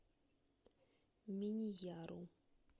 миньяру